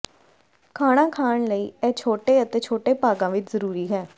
ਖਾਣਾ ਖਾਣ ਲਈ ਇਹ ਛੋਟੇ ਅਤੇ ਛੋਟੇ ਭਾਗਾਂ ਵਿੱਚ ਜ਼ਰੂਰੀ ਹੈ